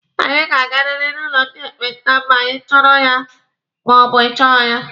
Anyị ga-agariri n'ụlọ ndị ekpenta ma ịchọrọ ya ma ọ bụ ị chọghị ya!